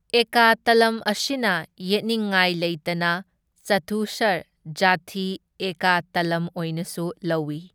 ꯑꯦꯀꯥ ꯇꯂꯝ ꯑꯁꯤꯅ ꯌꯦꯠꯅꯤꯡꯉꯥꯢ ꯂꯩꯇꯅ ꯆꯊꯨꯁ꯭ꯔ ꯖꯥꯊꯤ ꯑꯦꯀꯥ ꯇꯂꯝ ꯑꯣꯢꯅꯁꯨ ꯂꯧꯢ꯫